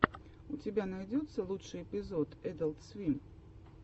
у тебя найдется лучший эпизод эдалт свим